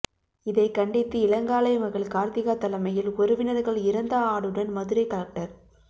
இதை கண்டித்து இளங்காளை மகள் கார்த்திகா தலைமையில் உறவினர்கள் இறந்த ஆடுடன் மதுரை கலெக்டர்